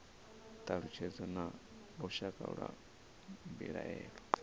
thalutshedzo na lushaka lwa mbilaelo